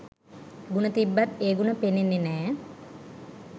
ගුණ තිබ්බත් ඒ ගුණ පෙනෙන්නේ නෑ.